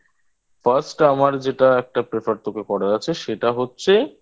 First আমার যেটা একটা Prefer তোকে করার আছে সেটা হচ্ছে